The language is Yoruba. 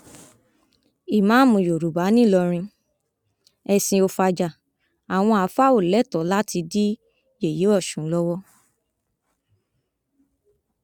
ìmàámu yorùbá nìlọrin ẹsìn ò fajà àwọn àáfàá ò lẹtọọ láti dí yẹyẹ ọsùn lọwọ